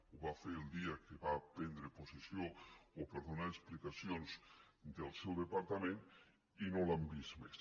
ho va fer el dia que va prendre possessió o per donar explicacions del seu departament i no l’hem vist més